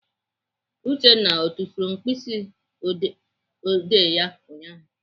Uchenna ọ tufuru mkpịsịodee ya ụnyaahụ?